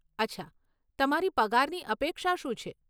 અચ્છા, તમારી પગારની અપેક્ષા શું છે?